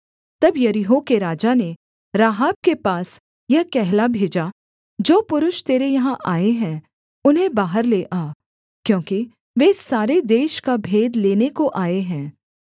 तब यरीहो के राजा ने राहाब के पास यह कहला भेजा जो पुरुष तेरे यहाँ आए हैं उन्हें बाहर ले आ क्योंकि वे सारे देश का भेद लेने को आए हैं